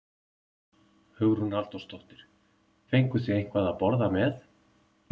Hugrún Halldórsdóttir: Fenguð þið eitthvað að borða með?